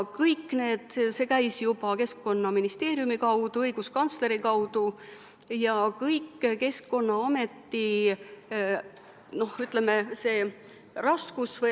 Kõik see käis juba Keskkonnaministeeriumi kaudu, õiguskantsleri kaudu ja Keskkonnaameti kaudu.